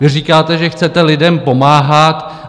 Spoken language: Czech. Vy říkáte, že chcete lidem pomáhat.